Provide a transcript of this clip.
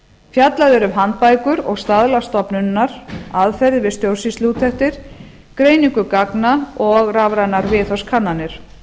fjallað er um handbækur og staðla stofnunarinnar aðferðir við stjórnsýsluúttektir greiningu gagna og rafrænar viðhorfskannanir